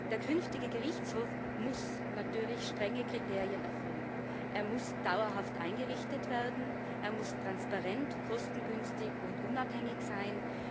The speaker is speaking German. Der künftige Gerichtshof muss natürlich strenge Kriterien erfüllen. Er muss dauerhaft eingerichtet werden, er muss transparent, kostengünstig und unabhängig sein.